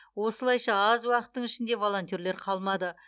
осылайша аз уақыттың ішінде волонтерлер қалмады